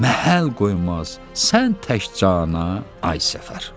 Məhəl qoymaz sən tək cana, ay Səfər!